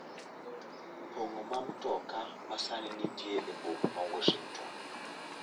pong'o ma mtoka ma sani nitie e boma ma Washington